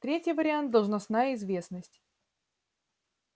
третий вариант должностная известность